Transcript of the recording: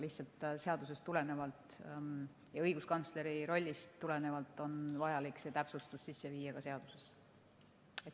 Lihtsalt seadusest ja õiguskantsleri rollist tulenevalt on vaja see täpsustus sisse viia ka seadusesse.